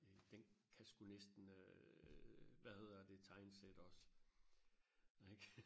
den kan sku næsten øh hvad hedder det tegnsætte også ikke